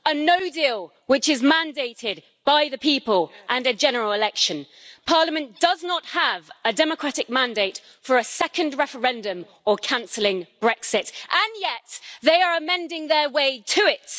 A no deal' which is mandated by the people and a general election. Parliament does not have a democratic mandate for a second referendum or cancelling Brexit, and yet they are amending their way to it.